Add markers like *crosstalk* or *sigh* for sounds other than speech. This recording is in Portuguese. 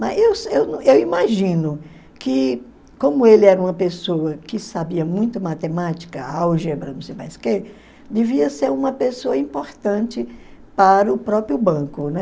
Mas *unintelligible* eu imagino que, como ele era uma pessoa que sabia muito matemática, álgebra, não sei mais o quê, devia ser uma pessoa importante para o próprio banco, né?